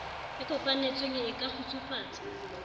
e kopanetsweng e ka kgutsufatsa